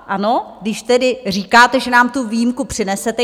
Ano, když tedy říkáte, že nám tu výjimku přinesete.